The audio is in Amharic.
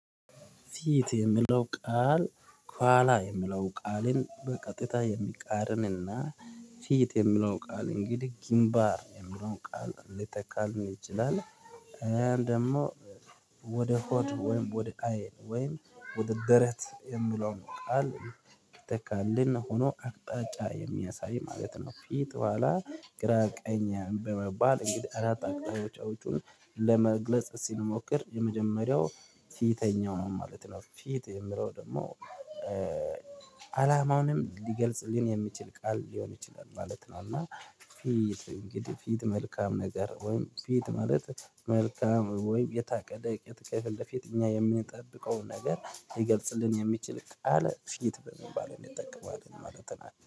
ፊት የሚለው ቃል ኋላ የሚለው ቃልን በቀጥታ የሚቃርንና ፊት የሚለው ቃል እንግዲህ ግንባር የሚለው ቃል ሊተከልን ይችላል። ደግሞ ወደ ሆድ ወይም ወደ አይን ወደ ደረት የምለው ነው ቃል ይተካልን ሆኖ አቅጣጫ የሚያሳይ ማለት ነው። ፊት በኋላ ግራ ቀኝ በመባል እንግዲህ አራት አቅጣጫ ውጪውን ለመግለጽ ሲሞክር የመጀመሪያው ፊተኛው ነው ማለት ነው። ፊት የምለው ደግሞ አላማውንም ሊገልጽ የሚችል ቃል ሊሆን ይችላል ማለት ነው። እና ፊት እንግዲህ ፊት መልካም ነገር ወይም ፊት ማለት መልካም ወይም የታቀደ የከፊለፊት እኛ የምንጠብቀውን ነገር ሊገልጽልን የሚችል ቃል ፊት በመባል እንደጠቀመው ማለት ነው